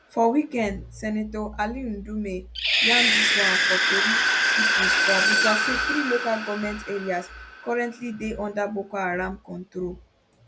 for weekend senator ali ndume yarn dis one for tori pipo for abuja say three local goment areas currently dey under boko haram control